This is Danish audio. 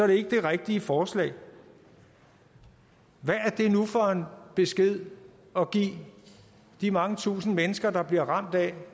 det ikke det rigtige forslag hvad er det nu for en besked at give de mange tusinde mennesker der bliver ramt af